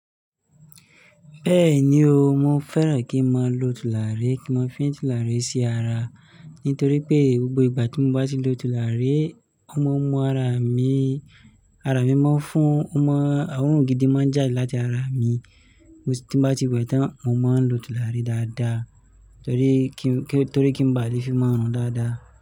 Bẹ́ẹ̀ni o, mo fẹ́ràn kí n má lọ tùlàrí, kí n máa fín tùlàrí sí ara, nítorí pé gbogbo ìgbà tí mo bá ti lo tùlàrí, ó máa ń mú ara mi, ara mi máa ń fún, ó máa ń, oorùn gidi máa ń jàde láti ara mi. Mo si tí n bá ti wẹ̀ tán, mo máa ń lo tùlàrí dáadáa torí kí, torí kí n ba à lè fín mó rùn dáadáa.